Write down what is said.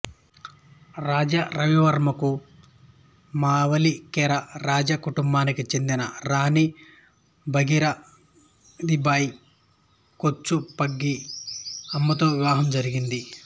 రాజా రవివర్మకు మావలికెర రాజ కుటుంబానికి చెందిన రాణీ భాగీరథీబాయి కోచు పంగి అమ్మతో వివాహం జరిగింది